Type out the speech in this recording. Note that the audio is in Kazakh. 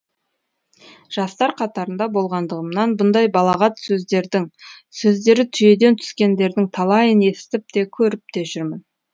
жастар қатарында болғандығымнан бұндай балағат сөздердің сөздері түйеден түскендердің талайын естіп те көріп те жүрмін